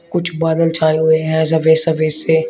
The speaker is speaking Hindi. कुछ बादल छाए हुए हैं सफेद सफेद से।